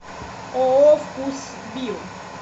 ооо вкусвилл